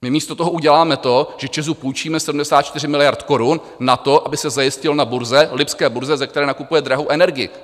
My místo toho uděláme to, že ČEZu půjčíme 74 miliard korun na to, aby se zajistil na burze, lipské burze, ze které nakupuje drahou energii.